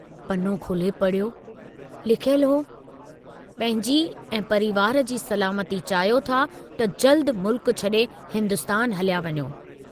पनो खोले पढ़ियो, लिखियलु हो, पंहिंजी ऐं परिवार जी सलामती चाहियो था त जल्दु मुल्क छड़े हिन्दुस्तान हलिया वञो।